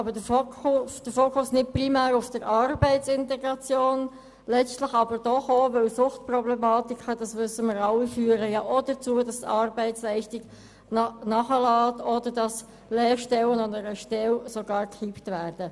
Dieses Mal liegt der Fokus aber nicht primär auf der Arbeitsintegration, letztlich aber doch auch, weil Suchtproblematiken – dies ist uns allen bekannt – letztendlich auch dazu führen, dass die Arbeitsleistung nachlässt und Lehrstellen oder Stellen sogar gekippt werden.